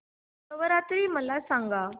नवरात्री मला सांगा